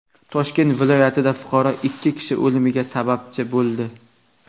Toshkent viloyatida fuqaro ikki kishi o‘limiga sababchi bo‘ldi.